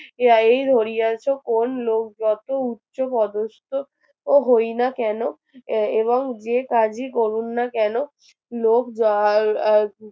ইহা এই ধরিয়াছো কোন লোক যত উচ্চপদস্থ ও হয় না কেন এ~এবং যে কাজই করুন না কেন লোক যাহার আহ